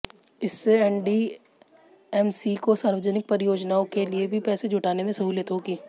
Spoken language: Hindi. इससे एनडीएमसी को सार्वजनिक परियोजनाओं के लिए भी पैसे जुटाने में सहूलियत होगी